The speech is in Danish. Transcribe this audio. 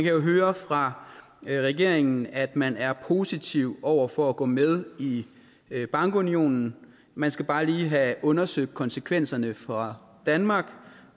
jo høre fra regeringen at man er positiv over for at gå med i bankunionen man skal bare lige have undersøgt konsekvenserne for danmark